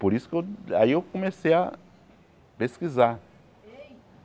Por isso que eu aí eu comecei a pesquisar.